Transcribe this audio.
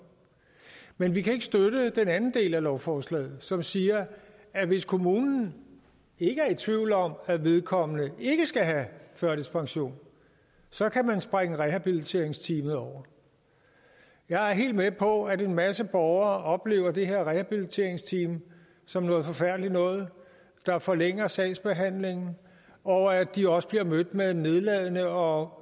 men vi kan ikke støtte den anden del af lovforslaget som siger at hvis kommunen ikke er i tvivl om at vedkommende ikke skal have førtidspension så kan man springe rehabiliteringsteamet over jeg er helt med på at en masse borgere oplever det her rehabiliteringsteam som noget forfærdeligt noget der forlænger sagsbehandlingen og at de også bliver mødt med nedladenhed og